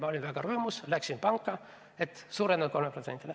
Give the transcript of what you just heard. Ma olin väga rõõmus ja läksin panka, et suurendada 3%-le.